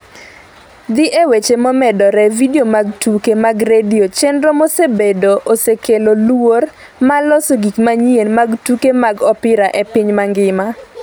Dhi e weche momedore Video mag Tuke mag Radio chenro mosebedo osekelo luor mar loso gik manyien mag tuke mag opira e piny mangima